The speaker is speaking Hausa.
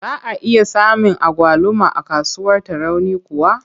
Za a iya samun agwaluma a kasuwar Tarauni kuwa?